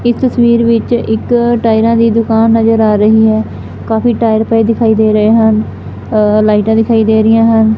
ਇਸ ਤਸਵੀਰ ਵਿੱਚ ਇੱਕ ਟਾਇਰਾਂ ਦੀ ਦੁਕਾਨ ਨਜ਼ਰ ਆ ਰਹੀ ਹੈ ਕਾਫੀ ਟਾਇਰ ਪਏ ਦਿਖਾਈ ਦੇ ਰਹੇ ਹਨ ਅ ਲਾਈਟਾਂ ਦਿਖਾਈ ਦੇ ਰਹੀਆਂ ਹਨ।